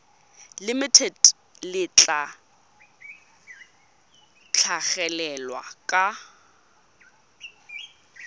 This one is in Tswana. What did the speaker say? limited le tla tlhagelela kwa